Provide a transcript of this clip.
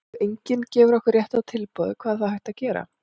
ef enginn gefur okkur rétta tilboðið hvað er þá hægt að gera?